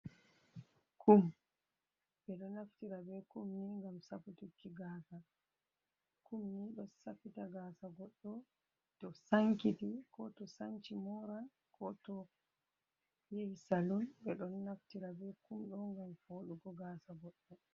Kum, ɓeɗo naftira be kumni ngam safutuki gasa, kum ni ɗo safita gasa goɗɗo to sankiti, ko to sanci Moran, ko to yahi salon, ɓeɗo naftira be kum ɗo ngam foɗugo gasa goɗɗo.